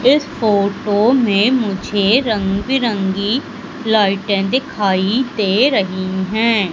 इस फोटो में मुझे रंग बिरंगी लाइटें दिखाई दे रही हैं।